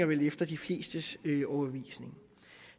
vel efter de flestes overbevisning